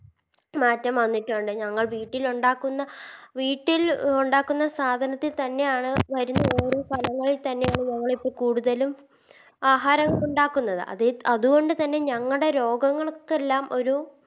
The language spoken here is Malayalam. മാറ്റം വന്നിട്ടുണ്ട് ഞങ്ങൾ വീട്ടിലുണ്ടാക്കുന്ന വീട്ടിൽ ഉണ്ടാക്കുന്ന സാധനത്തി തന്നെയാണ് വരുന്ന ഓരോ സ്ഥലങ്ങളിൽ തന്നെയാണ് ഞങ്ങളിപ്പോ കൂടുതലും ആഹാരം ഉണ്ടാക്കുന്നത് അത് അതുകൊണ്ട് തന്നെ ഞങ്ങടെ രോഗങ്ങൾക്കെല്ലാം ഒരു